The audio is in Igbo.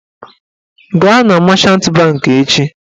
Gaa na machant bankị echi!